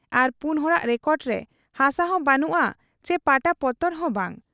ᱟᱨ ᱯᱩᱱ ᱦᱚᱲᱟᱜ ᱨᱮᱠᱚᱰ ᱨᱮ ᱦᱟᱥᱟᱦᱚᱸ ᱵᱟᱹᱱᱩᱜ ᱟ ᱪᱤ ᱯᱟᱴᱟᱯᱚᱛᱚᱨ ᱦᱚᱸ ᱵᱟᱝ ᱾